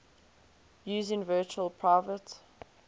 using virtual private